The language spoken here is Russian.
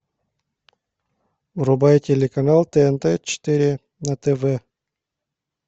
врубай телеканал тнт четыре на тв